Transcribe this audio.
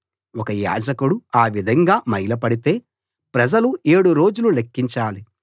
ఒక యాజకుడు ఆ విధంగా మైల పడితే ప్రజలు ఏడు రోజులు లెక్కించాలి